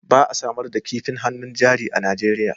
Ba a samar da kifin hannun jari a Najeriya